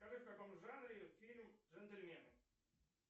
скажи в каком жанре фильм джентльмены